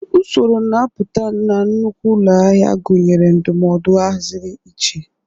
Usoro na-apụta na nnukwu ụlọ ahịa gụnyere ndụmọdụ ahaziri iche.